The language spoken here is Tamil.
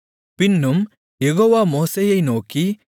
பின்னும் யெகோவா மோசேயை நோக்கி